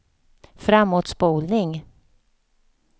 framåtspolning